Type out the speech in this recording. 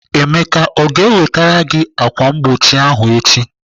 Emeka ọ ga-ewetere gị ákwà mgbochi ahụ echi?